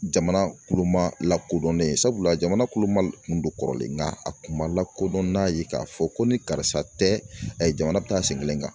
Jamana kuloma lakodɔnnen sabula jamana kuloma don kɔrɔlen nka a kun ma lakodɔn n'a ye k'a fɔ ko ni karisa tɛ jamana bi taa sen kelen kan